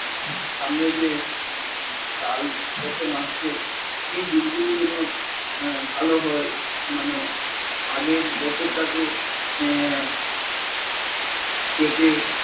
সামনে যে সাল প্রথম আসছে সেই দিনগুলো যেন আহ ভাল হয় মানে আগের বছরটাকে আহ কেটে